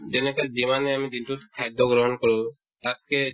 যেনেকে যিমান আমি দিনতোত খাদ্য গ্ৰহণ কৰো তাতকে